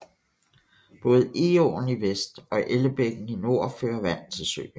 Både Egåen i vest og Ellebækken i nord fører vand til søen